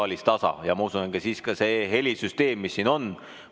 Ma usun, et siis ka sellest helisüsteemist, mis siin on.